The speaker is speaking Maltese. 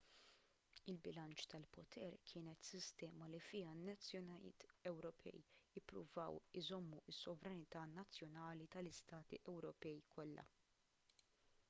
il-bilanċ tal-poter kienet sistema li fiha n-nazzjonijiet ewropej ippruvaw iżommu s-sovranità nazzjonali tal-istati ewropej kollha